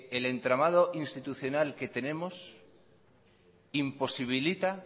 el entramado institucional que tenemos imposibilita